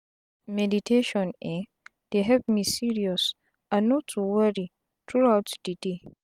meditation eh dey help me serious and no too worri truout de day